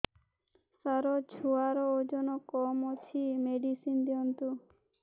ସାର ଛୁଆର ଓଜନ କମ ଅଛି ମେଡିସିନ ଦିଅନ୍ତୁ